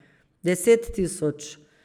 Deset tisoč.